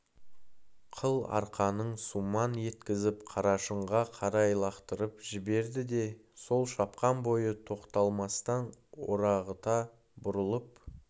қыл арқанын сумаң еткізіп қарашыңға қарай лақтырып жіберді де сол шапқан бойы тоқталмастан орағыта бұрылып